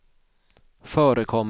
förekommer